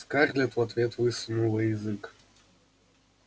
скарлетт в ответ высунула язык